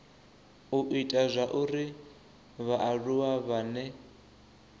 u ita zwauri vhaaluwa vhane